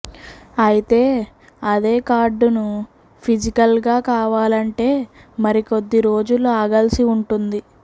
అయితే అదే కార్డును ఫిజికల్గా కావాలంటే మరికొద్ది రోజులు ఆగాల్సి ఉంటుంది